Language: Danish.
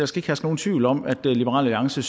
skal herske nogen tvivl om at liberal alliance